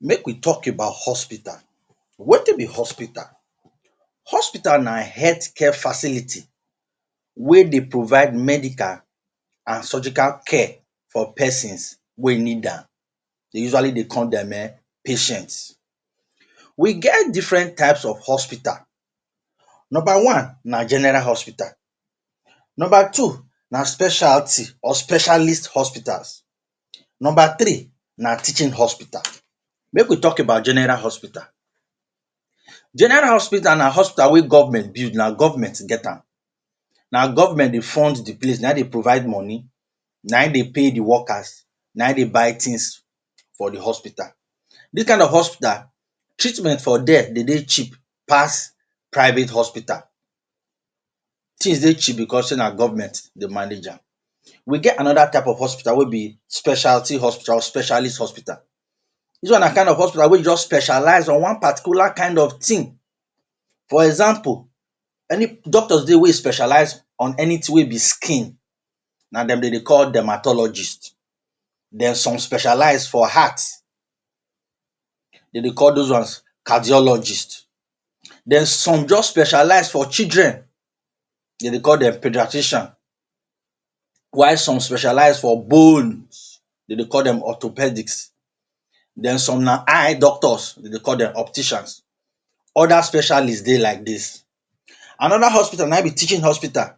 Make we talk about hospital. Wetin be hospital? Hospital na healthcare facility wey dey provide medical and surgical care for persons wey e need am. Dey usually dey call dem um patients. We get different types of hospital. Number one na general hospital. Number two na specialty or specialist hospitals. Number three na teaching hospital. Make we talk about general hospital. General hospital na hospital wey government build, na government get am. Na government dey fund de place, na im dey provide money, na im dey pay de workers, na im dey buy things for de hospital. Dis kain of hospital, treatment for there dey dey cheap pass private hospital. Things dey cheap because sey na government dey manage am. We get another type of hospital wey be specialty hospital or specialist hospital. Dis one na de kind of hospital wey e just specialize on one particular kind of thing. For example any doctors dey wey e specialize on anything wey be skin na dem dey dey call dermatologist. Dem some specialize for heart, dem dey call those ones cardiologist. Den some just specialize for children, dem dey call dem paediatrician while some specialize for bones, dem dey call dem orthopedics. Den some na eye doctors, dem dey call dem opticians, other specialists dey like dis. Another hospital, na im be teaching hospital.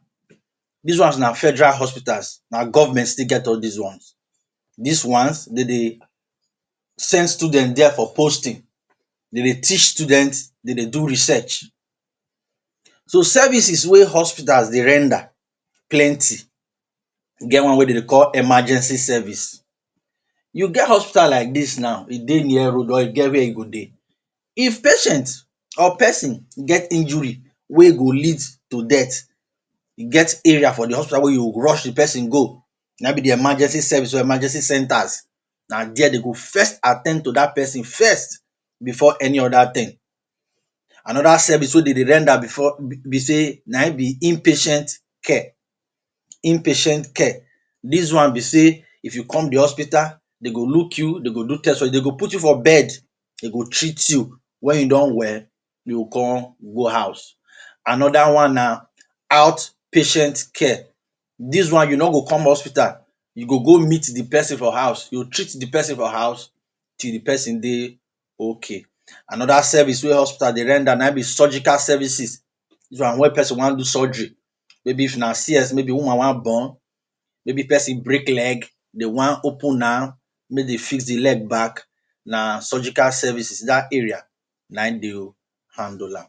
Dis ones na federal hospitals, na government still get all these ones. Dis ones, dem dey send students there for posting, dem dey teach students, dem dey do research. So services wey hospitals dey render plenty. E get one wey dem dey call “emergency service”. You get hospital like dis now, e dey near road, or e get where e go dey. If patient or person get injury wey go lead to death, e get area for de hospital wey you go rush de person go, na im be de emergency service or emergency centers. Na there dem go first at ten d to dat person first before any other thing. Another service wey dem dey render before be sey na im be inpatient care, inpatient care. Dis one be sey if you come de hospital dem go look you, dem go do test? dem go put you for bed, treat you, wen you don well, you come go house. Another one na outpatient care. Dis one you no go come hospital, you go go meet de person for house, you treat de person for house till de person dey okay. Another service wey hospital dey render na im be surgical services. Dis one wen person wan surgery maybe if an CS, maybe woman wan born, maybe person break leg, dey wan open am make dem fix de leg back, na surgical services dat area na im dey handle am.